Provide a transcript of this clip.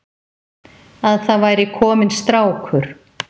Að það væri kominn strákur.